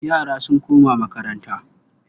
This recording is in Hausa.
Yara sun koma makaranta.